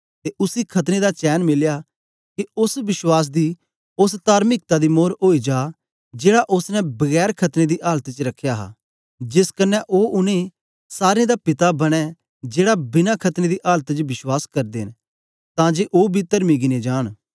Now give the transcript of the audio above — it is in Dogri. ते उसी खतने दा चैन मिलया के ओस विश्वास दी ओस तार्मिकता दी मोर ओई जा जेड़ा ओसने बिना खतने दी आलत च रख्या हा जेस क्न्ने ओ उनै सारे दा पिता बनें जेड़ा बिना खतने दी आलत च विश्वास करदे न तां जे बी तर्मी गिने जान